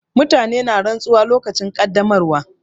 Mutane na rantsuwa lokacin ƙaddamarwa.